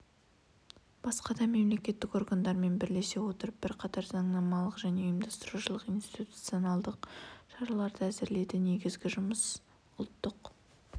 басқа да мемлекеттік органдармен бірлесе отырып бірқатар заңнамалық және ұйымдастырушылық-институционалдық шараларды әзірледі негізгі жұмыс ұлттық